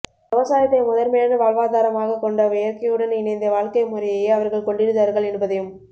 விவசாயத்தை முதன்மையான வாழ்வாதாரமாகக் கொண்ட இயற்கையுடன் இணைந்த வாழ்க்கை முறையையே அவர்கள் கொண்டிருந்தார்கள் என்பதையும்